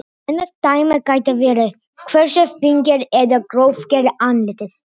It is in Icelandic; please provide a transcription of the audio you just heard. Annað dæmi gæti verið hversu fíngert eða grófgert andlitið er.